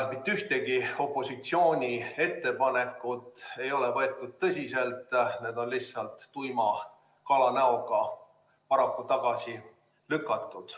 Mitte ühtegi opositsiooni ettepanekut ei ole võetud tõsiselt, need on lihtsalt tuima kalanäoga tagasi lükatud.